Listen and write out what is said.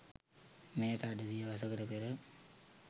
මෙයට අඩ සියවසකට පෙර